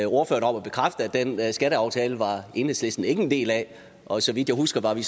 den skatteaftale var enhedslisten ikke en del af og så vidt jeg husker var vi